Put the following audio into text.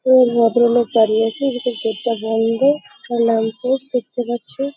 এই ভদ্রলোক দাঁড়িয়ে আছে। কিন্তু গেট -টা বন্ধ। সব ল্যাম্প পোস্ট দেখতে পাচ্ছি-ই--